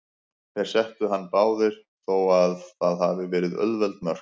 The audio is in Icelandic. Þeir settu hann báðir, þó að það hafi verið auðveld mörk.